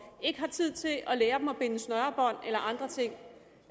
ikke er tid til at lære dem at binde snørebånd og andre ting